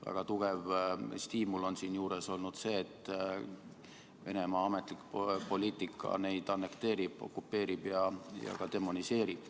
Väga tugev stiimul on siinjuures olnud see, et Venemaa ametlik poliitika neid annekteerib, okupeerib ja demoniseerib.